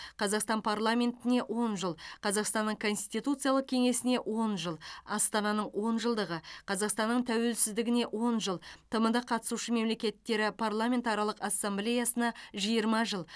қазақстан парламентіне он жыл қазақстанның конституциялық кеңесіне он жыл астананың он жылдығы қазақстанның тәуелсіздігіне он жыл тмд қатысушы мемлекеттері парламентаралық ассамблеясына жиырма жыл